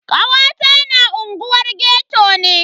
Kawata na unguwar ghetto ne.